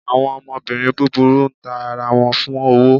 Awọn ọmọbirín búbúrú n tá ará wọn fún owó